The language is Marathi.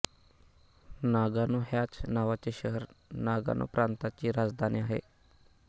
नागानो ह्याच नावाचे शहर नागानो प्रांताची राजधानी आहे